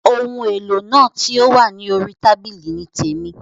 Oun èlò náà ti o wa ni orí tábìlì ni témi.